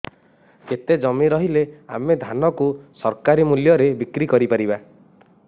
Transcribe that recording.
କେତେ ଜମି ରହିଲେ ଆମେ ଧାନ କୁ ସରକାରୀ ମୂଲ୍ଯରେ ବିକ୍ରି କରିପାରିବା